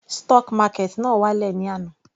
Stock market náà wá lẹ̀ ní àná.